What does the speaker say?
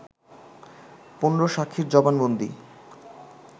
১৫ সাক্ষীর জবানবন্দি